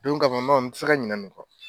Don kama n b'a o n tɛ se ka ɲinɛ ni kɔ.